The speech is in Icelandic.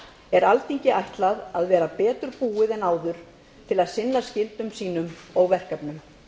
er alþingi ætlað að vera betur búið en áður til að sinna skyldum sínum og verkefnum